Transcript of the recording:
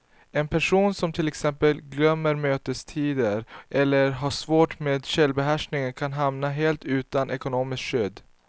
En person som till exempel glömmer mötestider eller har svårt med självbehärskningen kan hamna helt utan ekonomiskt skydd.